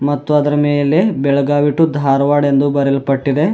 ಮತ್ತು ಅದರ ಮೇಲೆ ಬೆಳಗಾವಿ ಟು ಧಾರವಾಡ್ ಎಂದು ಬರೆಯಲ್ಪಟ್ಟಿದೆ.